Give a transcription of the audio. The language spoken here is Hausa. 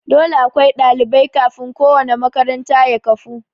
Dole akwai ɗalibai kafin ko wanna makaranta ya kafu